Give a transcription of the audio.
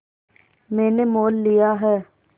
मैंने मोल लिया है